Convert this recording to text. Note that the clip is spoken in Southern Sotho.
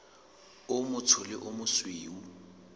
o motsho le o mosweu